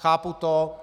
Chápu to.